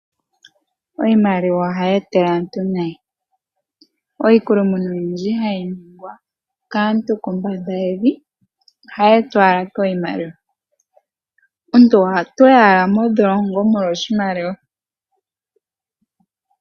Iimaliwa ohayi etele aantu nayi, iikulumuna oyindji hayi ningwa kaantu kombanda yevi ohayi etwa owala kiimaliwa. Omuntu otayi owala modholongo molwa oshimaliwa.